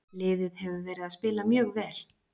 Liðið hefur verið að spila mjög vel.